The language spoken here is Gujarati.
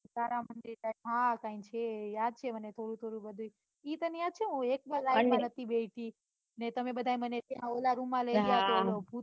હા હા હા કાંઈ છે યાદ છે મને થોડું થોડું બધુંય એ યાદ છે તને એકવાર હું ride માં નથી બેસી ને તમે બધાય મને ઓલ રૂમ માં લઇ ગયા તા ભૂત